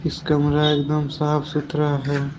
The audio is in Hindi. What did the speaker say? कमरा एकदम साफ सुथरा है।